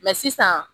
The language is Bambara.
sisan